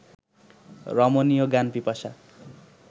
রমণীয় জ্ঞান-পিপাসা